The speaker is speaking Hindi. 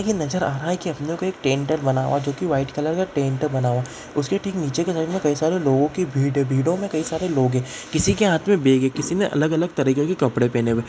ये नज़र आ रहा है कि अंदर कोई टेंट है बना हुआ जो की वाइट कलर का टेंट है बना हुआ | उसके ठीक नीचे के साइड में कई सारे लोगों की भीड़ है भीड़ों में कई सारे लोग हैं किसी के हाथ में बैग है किसी ने अलग-अलग तरीके के कपड़े पहने हुए हैं|